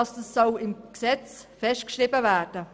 Diese soll im Gesetz festgeschrieben werden.